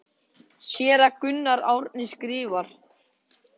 Séra Gunnar Árnason skrifar